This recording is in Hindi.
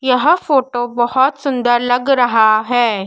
यह फोटो बहोत सुंदर लग रहा है।